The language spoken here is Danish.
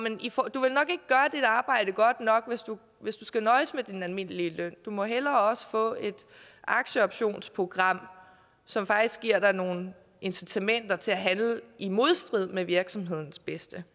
ikke arbejde godt nok hvis du skal nøjes med din almindelige løn du må hellere også få et aktieoptionsprogram som faktisk giver dig nogle incitamenter til at handle i modstrid med virksomhedens bedste